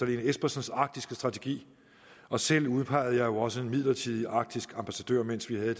lene espersens arktiske strategi og selv udpegede jeg jo også en midlertidig arktisk ambassadør mens vi havde